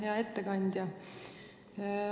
Hea ettekandja!